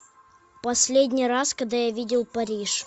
последний раз когда я видел париж